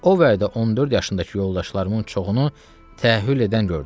O vədə 14 yaşındakı yoldaşlarımın çoxunu təhhül edən gördüm.